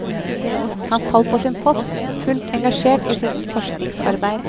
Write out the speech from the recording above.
Han falt på sin post, fullt engasjert i sitt forskningsarbeid.